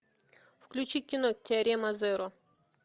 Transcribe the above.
включи кино теорема зеро